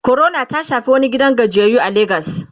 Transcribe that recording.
corona ta Shafi wani gidan gajiyayyu a legas